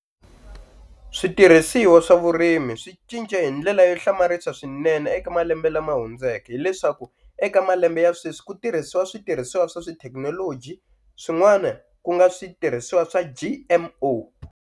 Switirhisiwa swa vurimi swi cince hi ndlela yo hlamarisa swinene eka malembe lama hundzeke hileswaku eka malembe ya sweswi ku tirhisiwa switirhisiwa swa tithekinoloji swin'wana ku nga switirhisiwa swa G_M_O.